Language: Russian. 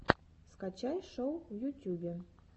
скачай шоу в ютюбе